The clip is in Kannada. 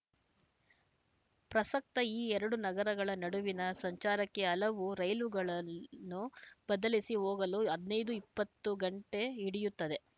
ಪ್ರಸಕ್ತ ಈ ಎರಡು ನಗರಗಳ ನಡುವಿನ ಸಂಚಾರಕ್ಕೆ ಹಲವು ರೈಲುಗಳನ್ನು ಬದಲಿಸಿ ಹೋಗಲು ಹದ್ ನೈದು ಇಪ್ಪತ್ತು ಗಂಟೆ ಹಿಡಿಯುತ್ತದೆ